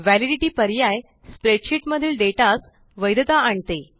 validity पर्याय spreadsheet मधिल डेटास वैधता आणते